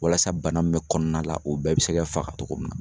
Walasa bana mun bɛ kɔnɔna la o bɛɛ be se ka faga togo min na.